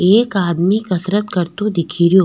एक आदमी कसरत करतो दिखरयो।